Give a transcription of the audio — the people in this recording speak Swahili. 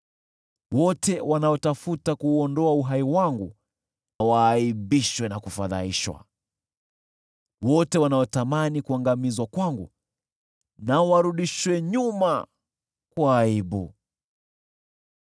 Wote wanaotafuta kuuondoa uhai wangu, waaibishwe na kufadhaishwa; wote wanaotamani kuangamizwa kwangu, warudishwe nyuma kwa aibu.